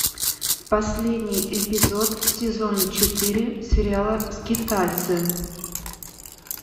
последний эпизод сезона четыре сериала скитальцы